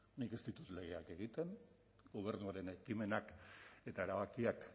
nik ez ditut legeak egiten gobernuaren ekimenak eta erabakiak